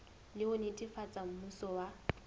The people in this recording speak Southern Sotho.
le ho netefatsa mmuso wa